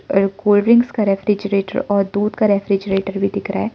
और एक cold drinks का रेफ्रिजरेटर और दूध का रेफ्रिजरेटर भी दिख रहा है।